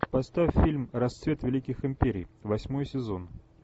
поставь фильм расцвет великих империй восьмой сезон